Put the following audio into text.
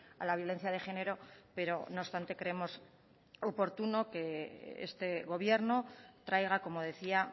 a la violencia de género pero no obstante creemos oportuno que este gobierno traiga como decía